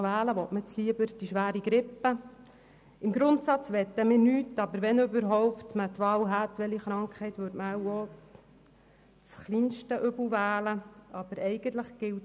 Zu den 5 Prozent, 8 Prozent oder 10 Prozent: Eigentlich möchten wir alle diese Kürzungen nicht.